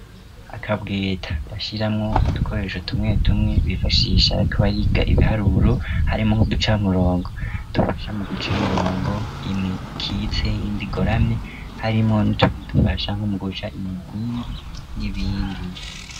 Akabweta bashiramwo udukoresho tumwe tumwe bifashishisha bikobariga ibiharuro harimo nk'uducamurongo dufasha mu guca imirongo imwe ikitseyindi goramye harimo n'utweni dufashanko mu guca imigingi n'ibindi.